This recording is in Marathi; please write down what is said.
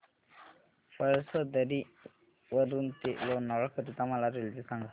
पळसधरी वरून ते लोणावळा करीता मला रेल्वे सांगा